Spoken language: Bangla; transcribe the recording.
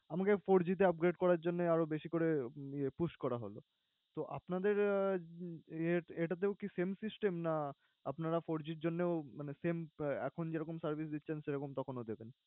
আমাকে four G তে upgrade করার জন্যে আরও বেশি করে ইয়ে push করা হলো। তো আপনাদের আহ এটাতেও কি same system, না আপনারা four G র জন্যেও মানে same এখন যেরকম service দিচ্ছেন সেরকম তখন ও দেবেন?